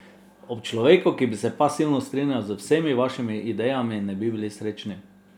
Ob človeku, ki bi se pasivno strinjal z vsemi vašimi idejami, ne bi bili srečni.